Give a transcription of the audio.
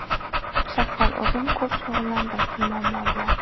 Shaxsan o‘zim ko‘p shug‘ullandim shu muammo bilan.